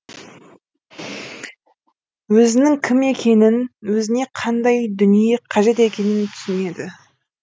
өзінің кім екенін өзіне қандай дүние қажет екенін түсінеді